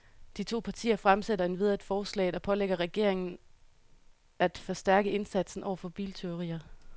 De to partier fremsætter endvidere et forslag, der pålægger regeringen af forstærke indsatsen over for biltyverier.